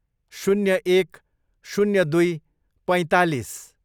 शून्य एक, शून्य दुई, पैँतालिस